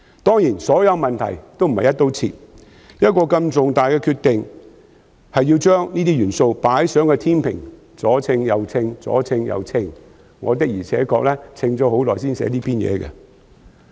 當然，所有問題均並非"一刀切"，作出如此重大的決定前，要先把這些因素放在天秤上衡量，而我的確衡量了很久才寫出這篇演辭。